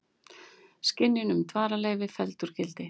Synjun um dvalarleyfi felld úr gildi